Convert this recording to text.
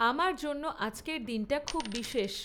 আমার জন্য আজকের দিনটা খুব বিশেষ!